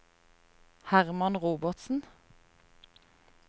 Hermann Robertsen